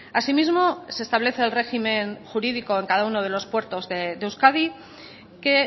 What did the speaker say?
así mismo se establece el régimen jurídico en cada uno de los puertos de euskadi que